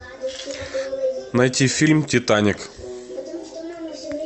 найти фильм титаник